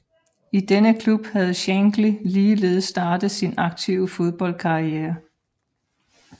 I denne klub havde Shankly ligeledes startet sin aktive fodboldkarriere